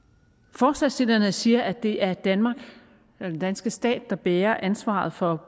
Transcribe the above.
forslagsstillerne siger at det er den danske stat der bærer ansvaret for